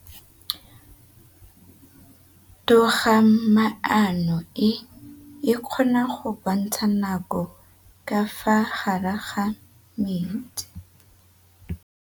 Toga-maanô e, e kgona go bontsha nakô ka fa gare ga metsi.